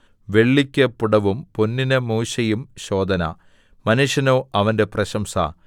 വെള്ളിക്ക് പുടവും പൊന്നിന് മൂശയും ശോധന മനുഷ്യനോ അവന്റെ പ്രശംസ